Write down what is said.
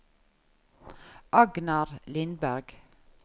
Agnar Lindberg